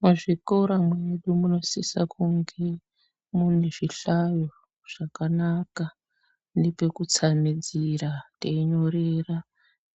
Muzvikora mwedu munosisa kunge mune zvihlayo zvakanaka nepekutsamidzira teinyorera